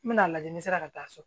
N bɛna lajɛ ni n sera ka taa so